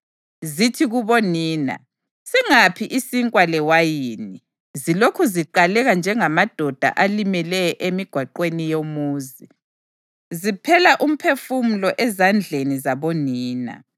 Zithi kubonina, “Singaphi isinkwa lewayini?” zilokhu ziqaleka njengamadoda alimeleyo emigwaqweni yomuzi, ziphela umphefumulo ezandleni zabonina.